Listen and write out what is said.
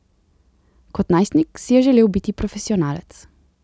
Kot najstnik si je želel biti profesionalec.